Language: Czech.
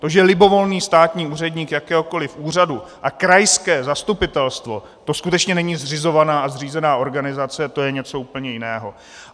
To, že libovolný státní úředník jakéhokoliv úřadu a krajské zastupitelstvo, to skutečně není zřizovaná a zřízená organizace, to je něco úplně jiného!